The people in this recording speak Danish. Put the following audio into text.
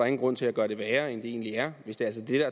ingen grund til at gøre det værre end det egentlig er hvis det altså er